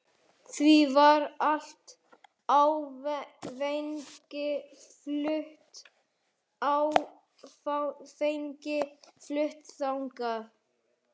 Því var allt áfengi flutt þannig.